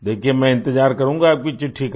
देखिये मैं इंतज़ार करूँगा आपकी चिट्ठी का